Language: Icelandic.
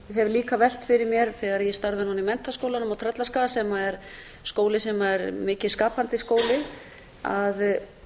hef líka velt fyrir mér þegar ég starfaði núna í menntaskólanum á tröllaskaga sem er skóli sem er mikið skapandi skóli að